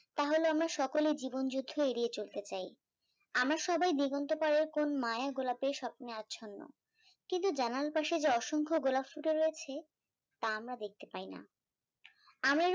তা হল আমরা সকলে জীবন যুদ্ধ এড়িয়ে চলতে চাই, আমরা সবাই জীবন্ত পাড়ার কোন মায়ের গোলাপের স্বপ্নে আচ্ছন্ন, কিন্ত জানালার পাশে যে অসংখ্য গোলাপ ফুটে রয়েছে তা আমরা দেখতে পাইনা, আমরা যখন বোকামি